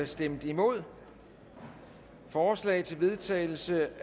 stemte nul forslag til vedtagelse